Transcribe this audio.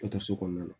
kɔnɔna na